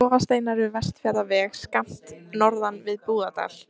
Klofasteinar við Vestfjarðaveg, skammt norðan við Búðardal.